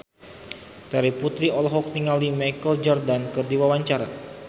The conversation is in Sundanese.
Terry Putri olohok ningali Michael Jordan keur diwawancara